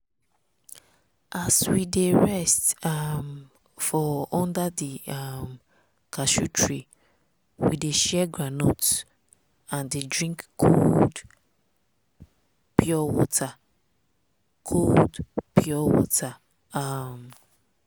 as we dey rest um for under di um cashew tree we dey share groundnut and dey drink cold pre water. cold pre water. um